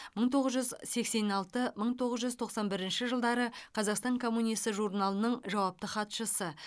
мың тоғыз жүз сексен алты мың тоғыз жүз тоқсан бірінші жылдары қазақстан коммунисі журналының жауапты хатшысы